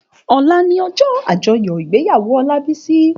Òlá ni òjò ájòyò igbéyàwó Olabisi